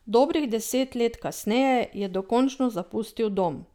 Dobrih deset let kasneje je dokončno zapustil dom.